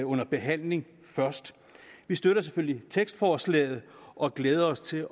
under behandling først vi støtter selvfølgelig tekstforslaget og glæder os til